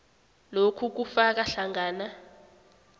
lokhu kufaka hlangana